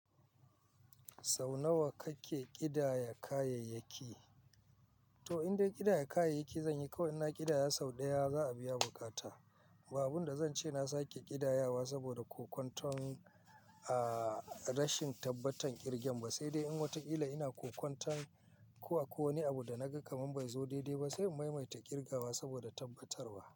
Sau nawa kake ƙidaya kayayyaki? To indai ƙidaya kayayyaki zanyi kawai ina ƙidaya sau ɗaya za a biya bukata. Ba abun da zan ce na sake ƙidayawa saboda kokantan a rashin tabbatan ƙirgen ba, sai dai in wataƙila ina kokantan ko a ko wane abu da naga kamar bai zo daidai ba sai maimaita ƙirgawa saboda tabbatarwa.